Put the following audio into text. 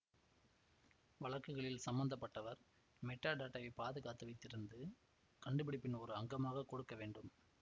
வழக்குகளில் ச்ம்பந்தப்பட்டவர் மெட்டாடேட்டாவை பாதுகாத்து வைத்திருந்து கண்டுபிடிப்பின் ஒரு அங்கமாக கொடுக்கவேண்டும்